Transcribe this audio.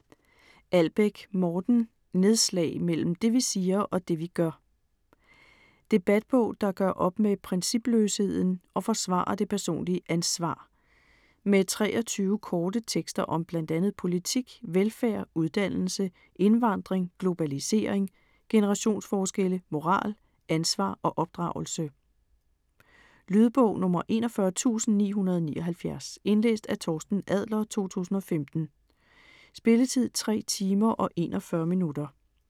Albæk, Morten: Nedslag - mellem det vi siger, og det vi gør Debatbog der gør op med principløsheden og forsvarer det personlige ansvar. Med 23 korte tekster om bl.a. politik, velfærd, uddannelse, indvandring, globalisering, generationsforskelle, moral, ansvar og opdragelse. Lydbog 41979 Indlæst af Torsten Adler, 2015. Spilletid: 3 timer, 41 minutter.